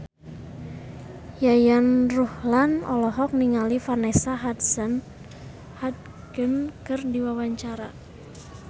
Yayan Ruhlan olohok ningali Vanessa Hudgens keur diwawancara